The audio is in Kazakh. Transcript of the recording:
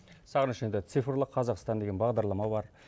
сағыныш енді цифрлы қазақстан деген бағдарлама бар